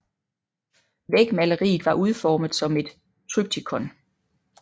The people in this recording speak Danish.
Vægmaleriet var udformet som et triptykon